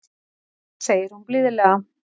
segir hún blíðlega.